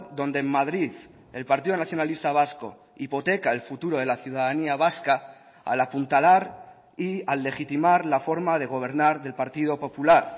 donde en madrid el partido nacionalista vasco hipoteca el futuro de la ciudadanía vasca al apuntalar y al legitimar la forma de gobernar del partido popular